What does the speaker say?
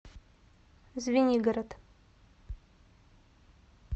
звенигород